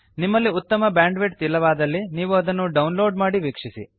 ನಿಮ್ಮಲ್ಲಿ ಉತ್ತಮ ಬ್ಯಾಂಡ್ವಿಡ್ತ್ ಇಲ್ಲವಾದಲ್ಲಿ ನೀವು ಇದನ್ನು ಡೌನ್ ಲೋಡ್ ಮಾಡಿ ವೀಕ್ಷಿಸಿ